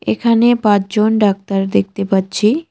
এখানে পাঁচজন ডাক্তার দেখতে পাচ্ছি।